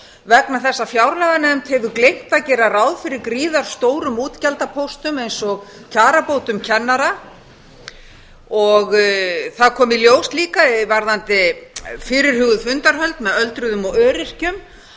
vegna þess að fjárlaganefnd hefur gleymt að gera ráð fyrir gríðarstórum útgjaldapóstum eins og kjarabótum kennara það kom líka í ljós varðandi fyrirhuguð fundarhöld með öldruðum og öryrkjum